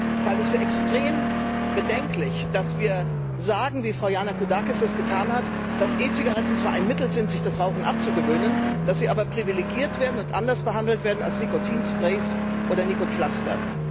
Ich halte es für extrem bedenklich, dass wir sagen, wie Frau Yannakoudakis es getan hat, dass E Zigaretten zwar ein Mittel sind, sich das Rauchen abzugewöhnen, dass sie aber privilegiert werden und anders behandelt werden als Nikotinsprays oder Nikotinpflaster.